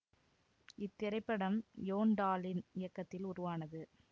இத்திரைப்படம் யோன் டாலின் இயக்கத்தில் உருவானது